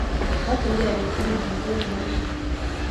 Mokiyke biik tugul ripet nemie